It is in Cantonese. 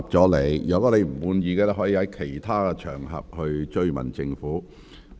你如不滿意，可在其他場合跟進。